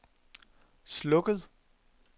slukket